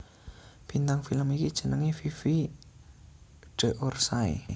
Bintang film iki jenengé Fifi d Orsay